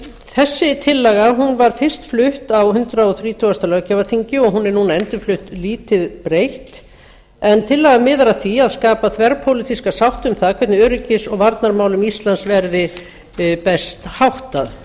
þessi tillaga var fyrst flutt á hundrað þrítugasta löggjafarþingi og hún er nú endurflutt lítið breytt tillagan miðar að því að skapa þverpólitíska sátt um það hvernig öryggis og varnarmálum íslands verði best háttað